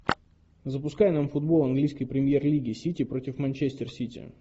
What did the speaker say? запускай нам футбол английской премьер лиги сити против манчестер сити